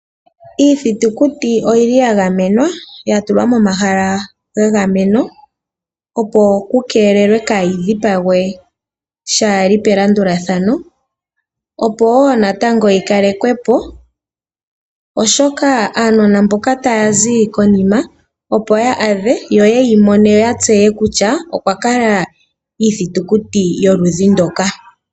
Iithitukuti oyili ya gamenwa ano ya tulwa mo mahala ga gamenwa, opo ku keelewe kaayi dhipagwe shaali pa landulathano, opo wo natango yi kalekwepo, oshoka aanona mboka taya zi konima opo yeyi adhe, yo yeyi mone, yo ya tseye kutya okwa kala iithitukuti yoludhi ndoka.